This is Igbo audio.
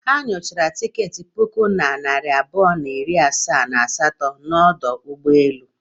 Ha o nyochara tiketi puku na narị abụọ na iri asaa na asatọ n'ọdụ ụgbọelu?